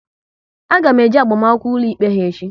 A ga m eje agbamakwụkwọ ụlọikpe ha echi